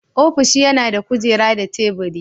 Ofishi yana da kujera da taburi.